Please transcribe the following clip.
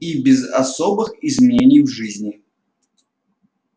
и без особых изменений в жизни